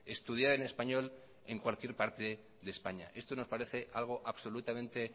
estudiar en español en cualquier parte de españa esto nos parece algo absolutamente